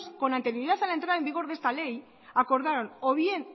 con anterioridad a la entrada en vigor de esta ley acordaron o bien